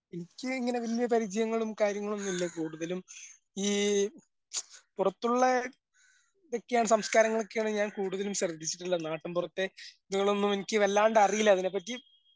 എനിക്ക് ഇങ്ങനെ വല്യ പരിചയങ്ങളും കാര്യങ്ങളൊന്നുല്ലാ കൂടുതലും ഈ പുറത്തുള്ള സംസ്കാരങ്ങളൊക്കെയാണ് ഞാൻ കൂടുതലും ശ്രെദ്ധിച്ചിട്ടുള്ളത്. നാട്ടുംപുറത്തെ വല്ലാണ്ട് അറിയില്ല അതിനെപ്പറ്റി.